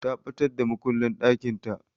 Ta ɓatar da makullin ɗakinta.